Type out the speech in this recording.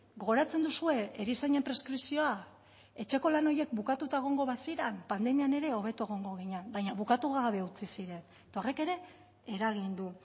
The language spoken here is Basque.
gogoratzen duzue erizainen preskripzioa etxeko lan horiek bukatuta egongo baziren pandemian ere hobeto egongo ginen baina bukatu gabe utzi ziren eta horrek ere eragin du